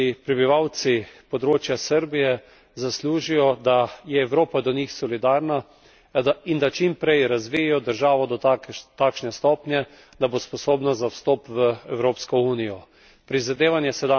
Prepričan sem, da si prebivalci področja Srbije zaslužijo, da je Evropa do njih solidarna in da čim prej razvijejo državo do takšne stopnje, da bo sposobna za vstop v Evropsko unijo.